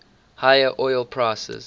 higher oil prices